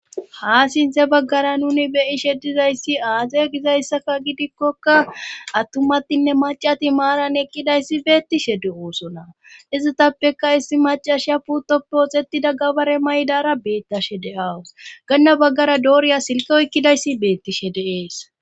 Haa sinthe baggara nuni be'ishe dizayssi aaze gizayssaka gidikkoka attumatinne maccati maaran eqqidayssi beettishe de'osona izetappeka issi maccashiya puutoppe oothettida gabare mayidara beettashe de'awus ganna baggara dooriya silke oykkidayssi beettishe de'es.